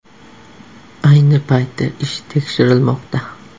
Ayni paytda ish tekshirilmoqda.